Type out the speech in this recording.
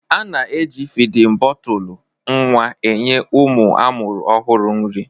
A na-eji fidin bọtụlụ nwa enye ụmụ a mụrụ ọhụrụ nri.